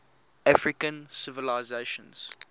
african civilizations